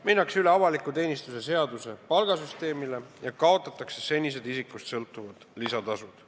Minnakse üle avaliku teenistuse seaduse palgasüsteemile ja kaotatakse senised isikust sõltuvad lisatasud.